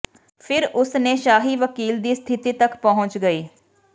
ਫਿਰ ਉਸ ਨੇ ਸ਼ਾਹੀ ਵਕੀਲ ਦੀ ਸਥਿਤੀ ਤੱਕ ਪਹੁੰਚ ਗਈ